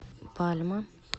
пальма